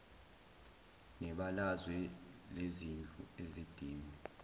nebalazwe lezindlu ezidinge